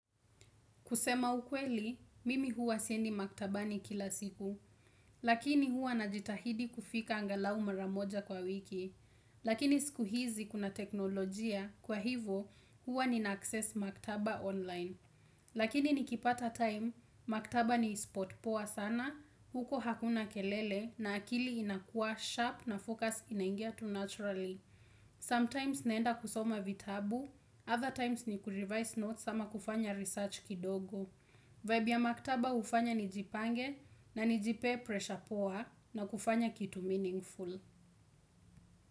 Kusema ukweli, mimi hua siendi maktaba ni kila siku, lakini huwa na jitahidi kufika angalau mara moja kwa wiki. Lakini siku hizi kuna teknolojia, kwa hivyo huwa nina access maktaba online. Lakini nikipata time, maktaba ni spot poa sana, huko hakuna kelele na akili inakua sharp na focus inaingia tu naturally. Sometimes naenda kusoma vitabu, other times ni kurevise notes ama kufanya research kidogo. Vibe ya maktaba hufanya nijipange na nijipe pressure poa na kufanya kitu meaningful.